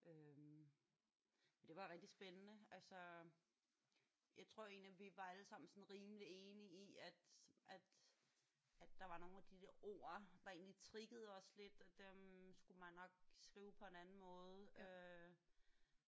Men det var rigtig spændende. Altså jeg tror egentlig vi var alle sammen sådan rimeligt enige i at at at der var nogle af de der ord der egentlig triggede os lidt og dem skulle man nok skrive på en anden måde øh